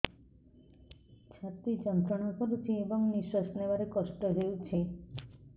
ଛାତି ଯନ୍ତ୍ରଣା କରୁଛି ଏବଂ ନିଶ୍ୱାସ ନେବାରେ କଷ୍ଟ ହେଉଛି